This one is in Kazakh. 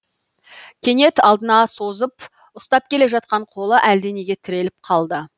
кенет алдына созып ұстап келе жатқан қолы әлденеге тіреліп қалды